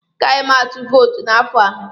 Agaghị m atụ vootu n'afọ a.